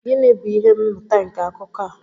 Gịnị bụ ihe mmụta nke akụkọ a?